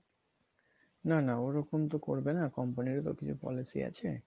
না না ওরকম তো করবে না company ও তো কিছু পলিসি আছে